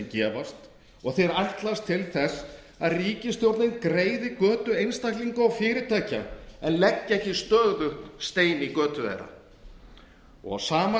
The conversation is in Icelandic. gefast og þeir ætlast til þess að ríkisstjórnin greiði götu einstaklinga og fyrirtækja en leggi ekki stöðugt stein í götu þeirra á sama